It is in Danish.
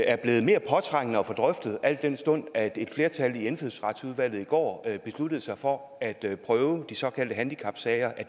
er blevet mere påtrængende at få drøftet al den stund at et flertal i indfødsretsudvalget i går besluttede sig for at prøve de såkaldte handicapsager